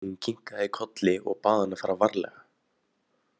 Hún kinkaði kolli og bað hann að fara varlega.